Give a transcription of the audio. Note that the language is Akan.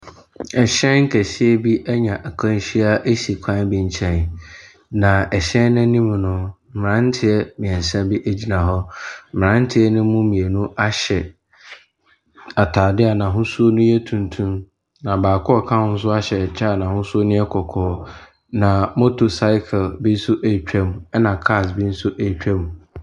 Ɛhyɛn kɛseɛ bi anya akwanhyia si kwan bi nkyɛn, na ɛhyɛn no anim no, mmeranteɛ mmeɛnsa bi gyina hɔ. Mmeranteɛ no mu mmienu ahyɛ atadeɛ a n'ahosuo no yɛ tuntum, na baako a ɔka ho no nso ahyɛ ɛkyɛ a n'ahosuo no yɛ kɔkɔɔ. Na motorcycle bi nso retwa mu, ɛna cars bo nso retwa mu.